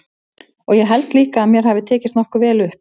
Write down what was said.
Og ég held líka að mér hafi tekist nokkuð vel upp.